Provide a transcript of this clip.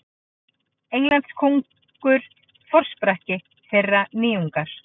Englandskóngur forsprakki þeirrar nýjungar.